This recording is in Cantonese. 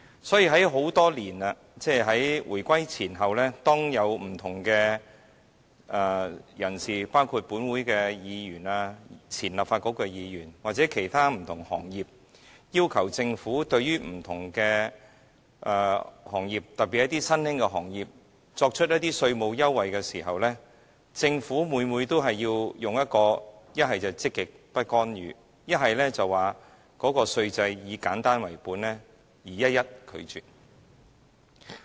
所以，在很多年來，即在回歸前後，當有不同的人士，包括立法會議員、前立法局的議員或其他不同的行業代表，要求政府對不同的行業，特別是新興的行業作出稅務優惠時，政府每次不是以積極不干預為由，便是表示稅制是以簡單為本，而一一拒絕。